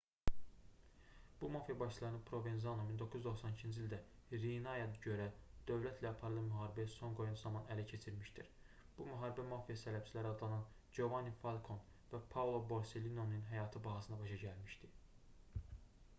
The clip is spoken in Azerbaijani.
bu mafiya başçılarını provenzano 1992-ci ildə riinaya görə dövlətlə aparılan müharibəyə son qoyan zaman ələ keçirmişdir bu müharibə mafiya sələbçiləri adlanan jovanni falkon və paolo borsellinonun həyatı bahasına başa gəlmişdi